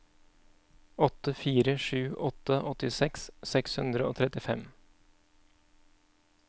åtte fire sju åtte åttiseks seks hundre og trettifem